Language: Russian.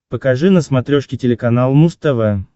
покажи на смотрешке телеканал муз тв